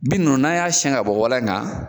Bin ninnu n'a y'a siyɛn ka bɔ walan kan